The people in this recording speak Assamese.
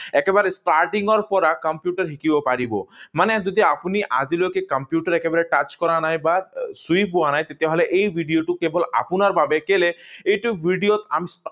একেবাৰে starting ৰ পৰা কম্পিউটাৰ শিকিব পাৰিব। মানে যদি আপুনি আজিলৈকে কম্পিউটাৰ একেবাৰে touch কৰা নাই বা চুই পোৱা নাই, তেতিয়াহলে এই ভিডিঅটো কেৱল আপোনাৰ বাবে কেলে এইটো ভিডিঅত